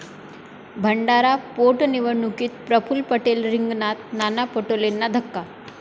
भंडारा पोटनिवडणुकीत प्रफुल्ल पटेल रिंगणात, नाना पटोलेंना धक्का